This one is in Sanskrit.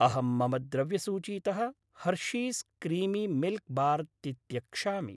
अहं मम द्रव्यसूचीतः हर्शीस् क्रीमि मिल्क् बार् तित्यक्षामि।